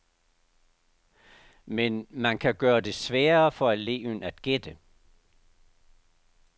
Men man kan gøre det sværere for eleven at gætte.